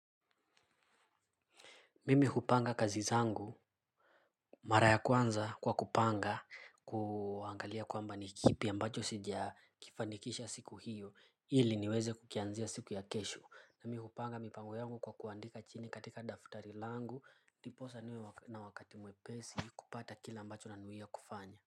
Mimi hupanga kazi zangu mara ya kwanza kwa kupanga kuangalia kwamba ni kipi ambacho sijakifanikisha siku hiyo ili niweze kukianzia siku ya kesho na mimi hupanga mipango yangu kwa kuandika chini katika daftari langu ndiposa niwe na wakati mwepesi kupata kila ambacho nanuia kufanya.